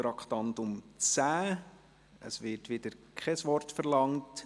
Das Wort wird wiederum nicht verlangt.